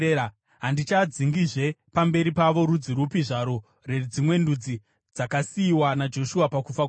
handichadzingizve pamberi pavo rudzi rupi zvarwo rwedzimwe ndudzi dzakasiyiwa naJoshua pakufa kwake.